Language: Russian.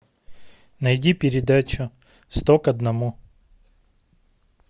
найди передачу сто к одному